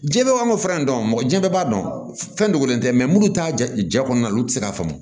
Jɛn bɛ an k'o fura in dɔn mɔgɔ jɛn bɛɛ b'a dɔn fɛn dogolen tɛ minnu t'a jɛ kɔnɔna olu tɛ se k'a faamu